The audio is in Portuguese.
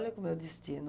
Olha como é o destino.